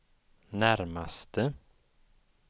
närmaste